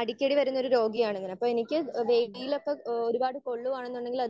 അടിക്കടി വരുന്ന ഒരു രോഗിയാണ് ഞാൻ. അപ്പൊ എനിക്ക് ഈ വെയിലൊക്കെ ഏഹ് ഒരുപാട് പൊള്ളുവാണെന്നുണ്ടെങ്കിൽ അത്